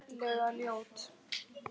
Ferlega ljót.